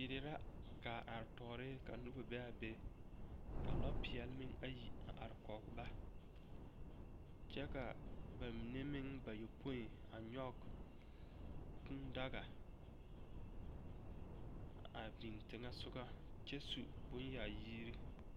Yie la gaa are tɔɔre ka noba be a be ka lɔ peɛle meŋ ayi a are kɔge ba kyɛ ka bamine meŋ bayɔpoe a nyɔge kūūdaga a biŋ teŋɛ soga kyɛ su bonyaayiri.